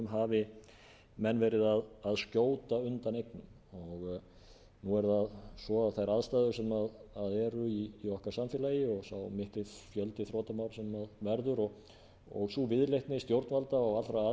hafi menn verið að skjóta undan eignum nú er það svo að þær aðstæður sem eru í okkar samfélagi og sá mikli fjöldi þrotamats sem verður og sú viðleitni og stjórnvalda allra aðila í samfélaginu